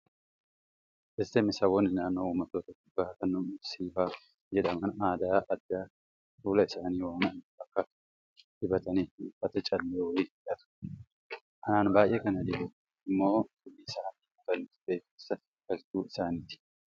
smSaboonni naannoo uummattoota kibbaa kan mursii fa'aa jedhaman aadaa addaa kan fuula isaanii waan adii fakkaatu dibatanii fi uffata callee waliin hidhatu. Anaan baay'ee kan na dhibe immoo hidhii isaanii kutanii suphee keessa galchuu isaaniiti.